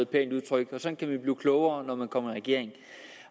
pænt udtryk sådan kan man blive klogere når man kommer i regering